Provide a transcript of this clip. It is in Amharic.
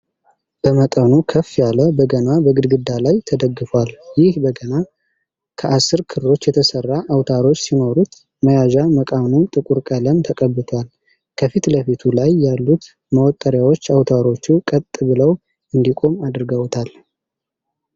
በመጠኑ ከፍ ያለ በገና በግድግዳ ላይ ተደግፏል። ይህ በገና ከአስር ክሮች የተሰራ አውታሮች ሲኖሩት መያዣ መቃኑ ጥቁር ቀለም ተቀብቷል። ከፊት ለፊቱ ላይ ያሉት መወጠሪያዎች አውታሮቹ ቀጥ ብለው እንዲቆም አድርገውታል።